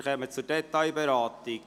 Wir kommen zur Detailberatung.